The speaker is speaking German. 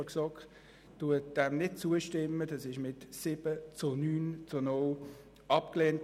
Er wurde mit 7 Ja-, 9 Nein-Stimmen bei 0 Enthaltungen abgelehnt.